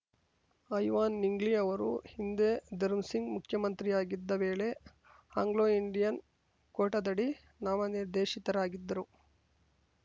ಐವಾನ್‌ ನಿಂಗ್ಲಿ ಅವರು ಹಿಂದೆ ಧರ್ಮಸಿಂಗ್‌ ಮುಖ್ಯಮಂತ್ರಿಯಾಗಿದ್ದ ವೇಳೆ ಆಂಗ್ಲೋಇಂಡಿಯನ್‌ ಕೋಟಾದಡಿ ನಾಮನಿರ್ದೇಶಿತರಾಗಿದ್ದರು